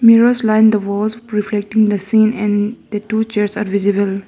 mirrors line the walls reflecting the scene and the two chairs are visible.